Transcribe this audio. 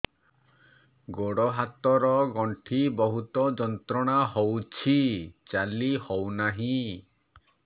ଗୋଡ଼ ହାତ ର ଗଣ୍ଠି ବହୁତ ଯନ୍ତ୍ରଣା ହଉଛି ଚାଲି ହଉନାହିଁ